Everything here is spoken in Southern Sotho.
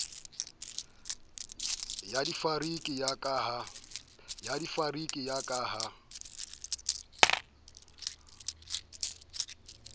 ba difariki ya ka ha